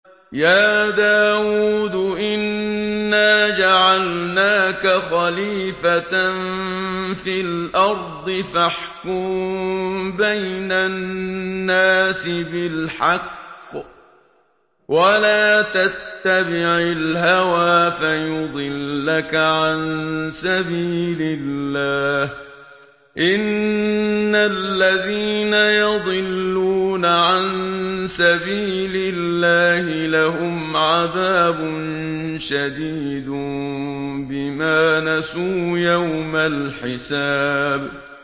يَا دَاوُودُ إِنَّا جَعَلْنَاكَ خَلِيفَةً فِي الْأَرْضِ فَاحْكُم بَيْنَ النَّاسِ بِالْحَقِّ وَلَا تَتَّبِعِ الْهَوَىٰ فَيُضِلَّكَ عَن سَبِيلِ اللَّهِ ۚ إِنَّ الَّذِينَ يَضِلُّونَ عَن سَبِيلِ اللَّهِ لَهُمْ عَذَابٌ شَدِيدٌ بِمَا نَسُوا يَوْمَ الْحِسَابِ